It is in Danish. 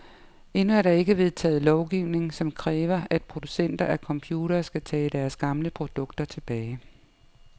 Endnu er der ikke vedtaget lovgivning, som kræver, at producenter af computere skal tage deres gamle produkter tilbage.